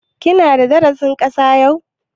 Ki na da darasin Saƙa yau?